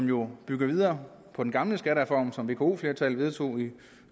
jo bygger videre på den gamle skattereform som vko flertallet vedtog i